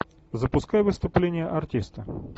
запускай выступление артиста